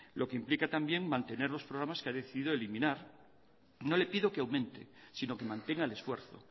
lo que implica también mantener los programas que ha decidido eliminar no le pido que aumente sino que mantenga el esfuerzo